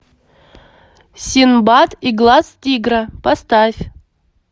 синдбад и глаз тигра поставь